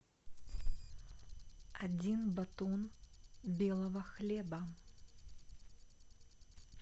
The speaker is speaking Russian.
один батон белого хлеба